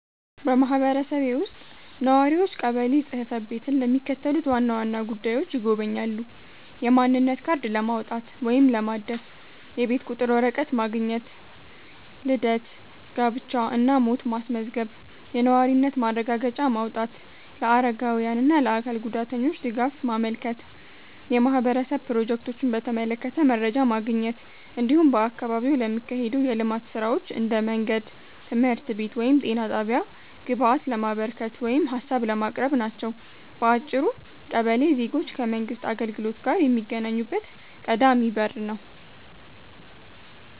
በማህበረሰቤ ውስጥ ነዋሪዎች ቀበሌ ጽ/ቤትን ለሚከተሉት ዋና ዋና ጉዳዮች ይጎበኛሉ፦ የማንነት ካርድ ለማውጣት ወይም ለማደስ፣ የቤት ቁጥር ወረቀት ማግኘት፣ ልደት፣ ጋብቻ እና ሞት ማስመዝገብ፣ የነዋሪነት ማረጋገጫ ማውጣት፣ ለአረጋውያን እና ለአካል ጉዳተኞች ድጋፍ ማመልከት፣ የማህበረሰብ ፕሮጀክቶችን በተመለከተ መረጃ ማግኘት፣ እንዲሁም በአካባቢው ለሚካሄዱ የልማት ሥራዎች (እንደ መንገድ፣ ትምህርት ቤት ወይም ጤና ጣቢያ) ግብአት ለማበርከት ወይም ሀሳብ ለማቅረብ ናቸው። በአጭሩ ቀበሌ ዜጎች ከመንግሥት አገልግሎት ጋር የሚገናኙበት ቀዳሚ በር ነው።